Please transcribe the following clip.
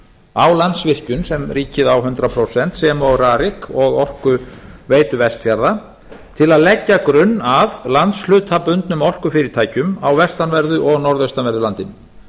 á landsvirkjun sem ríkið á hundrað prósent sem og rarik og orkuveitu vestfjarða til að leggja grunn að landshlutabundnum orkufyrirtækjum á vestanverðu og norðvestanverðu landinu